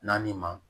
Naani ma